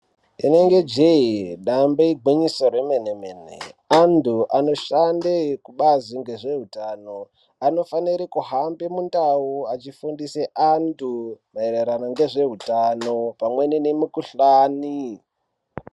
Inenge jee dambe igwinyiso remwene-mene, antu anoshande kubazi ngezveutano anofanire kuhamba mundau achifundise antu maererano ngezveutano, pamweni nemikuhlani.